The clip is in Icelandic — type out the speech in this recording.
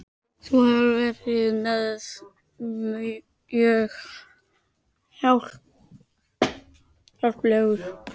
Þú hefur verið mér mjög hjálplegur